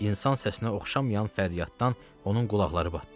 İnsan səsinə oxşamayan fəryaddan onun qulaqları batdı.